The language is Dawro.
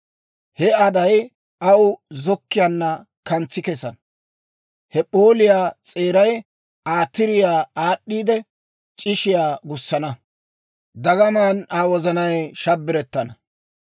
He aday aw zokkiyaanna kantsi kesana; he p'ooliyaa s'eeray Aa tiriyaa aad'd'iidde, c'ishshiyaa gussana. Dagamaan Aa wozanay shabbarettana.